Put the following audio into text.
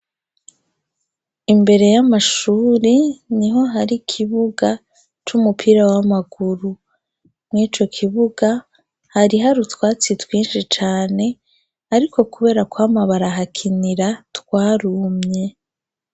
Imbere y'amashuri niho hari kibuga c'umupira w'amaguru. Mw'ico kibuga, hari hari utwatsi twinshi cane ariko kubera kwama barahakinira twarumye.